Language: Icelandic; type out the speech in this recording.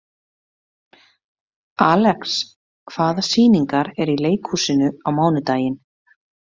Alex, hvaða sýningar eru í leikhúsinu á mánudaginn?